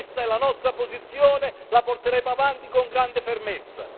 Questa è la nostra posizione e la porteremo avanti con grande fermezza.